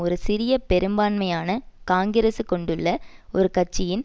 ஒரு சிறிய பெரும்பான்மையான காங்கிரஸி கொண்டுள்ள ஒரு கட்சியின்